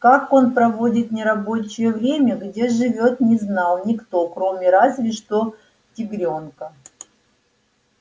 как он проводит нерабочее время где живёт не знал никто кроме разве что тигрёнка